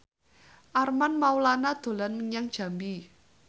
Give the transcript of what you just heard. Armand Maulana dolan menyang Jambi